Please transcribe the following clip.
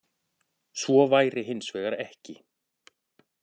Svo væri hins vegar ekki